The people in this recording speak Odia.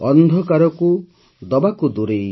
ଅନ୍ଧକାରକୁ ଦେବାକୁ ଦୂରେଇ